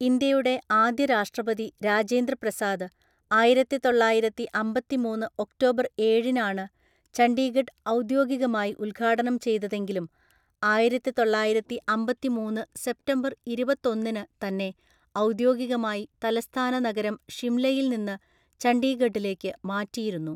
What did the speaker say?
ഇന്ത്യയുടെ ആദ്യ രാഷ്ട്രപതി രാജേന്ദ്ര പ്രസാദ് ആയിരത്തിതൊള്ളായിരത്തിഅമ്പത്തിമൂന്ന് ഒക്ടോബർ ഏഴിനാണ് ചണ്ഡീഗഡ് ഔദ്യോഗികമായി ഉദ്ഘാടനം ചെയ്തതെങ്കിലും ആയിരത്തിതൊള്ളായിരത്തിഅമ്പത്തിമൂന്ന് സെപ്റ്റംബർ ഇരുപത്തൊന്നിനു തന്നെ ഔദ്യോഗികമായി തലസ്ഥാന നഗരം ഷിംലയിൽ നിന്ന് ചണ്ഡീഗഢിലേക്ക് മാറ്റിയിരുന്നു.